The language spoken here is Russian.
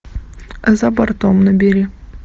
за бортом набери